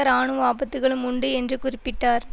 இராணுவ ஆபத்துக்களும் உண்டு என்று குறிப்பிட்டார்